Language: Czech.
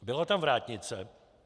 Byla tam vrátnice.